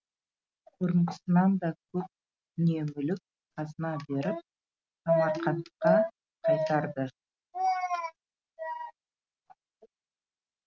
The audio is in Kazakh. бұрынғысынан да көп дүние мүлік қазына беріп самарқантқа қайтарды